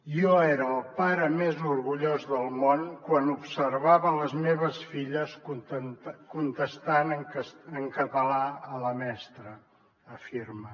jo era el pare més orgullós del món quan observava les meves filles contestant en català a la mestra afirma